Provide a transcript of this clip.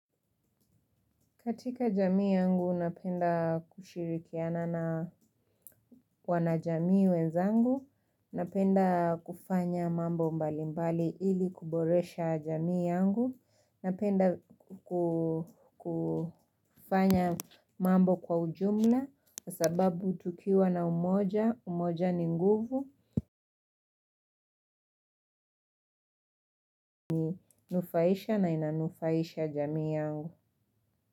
Katika jamii yangu, napenda kushirikiana na wanajamii wenzangu, napenda kufanya mambo mbalimbali ili kuboresha jamii yangu, napenda kufanya mambo kwa ujumla, kwa sababu tukiwa na umoja, umoja ni nguvu, unanufaisha na inanufaisha jamii yangu.